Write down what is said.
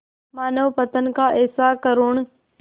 मानवपतन का ऐसा करुण